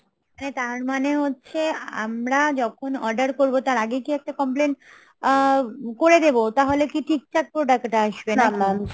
তার মানে হচ্ছে আমরা যখন order করবো তার আগে কি একটা complain আ~ তাহলে কি ঠিকঠাক product আসবে নাকি?